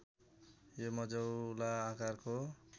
यो मझौला आकारको